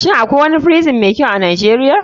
Shin akwai wani prison mai kyau a nijeria?